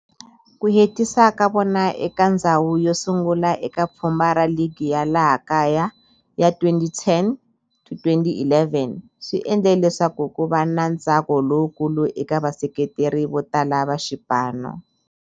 Ku hetisa ka vona eka ndzhawu yo sungula eka pfhumba ra ligi ya laha kaya ya 2010-11 swi endle leswaku kuva na ntsako lowukulu eka vaseketeri votala va xipano.